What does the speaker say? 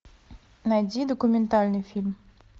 найди документальный фильм